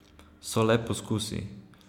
So le poskusi.